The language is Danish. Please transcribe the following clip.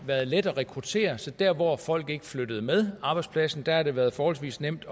været let at rekruttere så dér hvor folk ikke er flyttet med arbejdspladsen har det været forholdsvis nemt